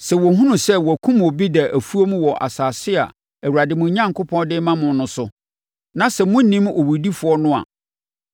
Sɛ wɔhunu sɛ wɔakum obi da afuom wɔ asase a Awurade, mo Onyankopɔn, de rema mo no so, na sɛ monnim owudifoɔ no a,